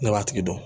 Ne b'a tigi dɔn